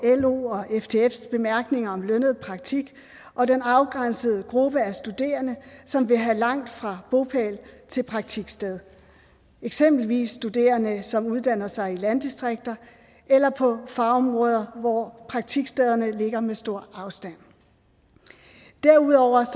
los og ftfs bemærkninger om lønnet praktik og den afgrænsede gruppe af studerende som vil have langt fra bopæl til praktiksted eksempelvis studerende som uddanner sig i landdistrikter eller på fagområder hvor praktikstederne ligger med stor afstand derudover er